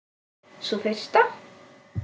Sú fyrsta?